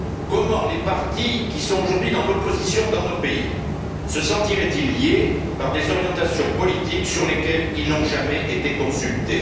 Comment les partis, qui sont aujourd'hui dans l'opposition dans nos pays, se sentiraient ils liés par des orientations politiques sur lesquelles ils n'ont jamais été consultés?